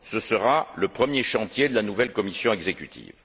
Ce sera le premier chantier de la nouvelle Commission exécutive.